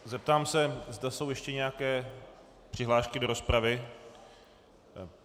Zeptám se, zda jsou ještě nějaké přihlášky do rozpravy.